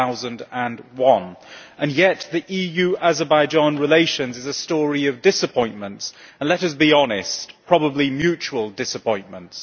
2001. And yet EU Azerbaijan relations are a story of disappointments, and let us be honest probably mutual disappointments.